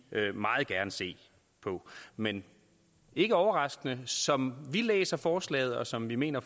meget gerne se på men ikke overraskende kan som vi læser forslaget og som vi mener